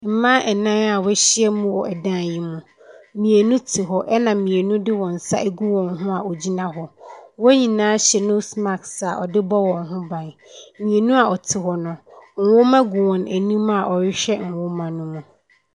Mma nna a wɔahyia mu wɔ dan yi mu, mmienu te hɔ, ɛna mmienu de wɔn nsa agu wɔn ho a wɔgyina hɔ. Wɔn nyinaa hyɛ nose mask a wɔde bɔ wɔn no ban. Mmieni a wɔte hɔ no nwoma gu wɔn anim a wɔrehwɛ nwoma no mu.